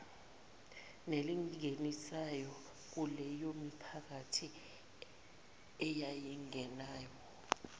nelinganisayo kuleyomiphakathi eyayingenawo